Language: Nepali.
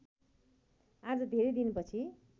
आज धेरै दिनपछि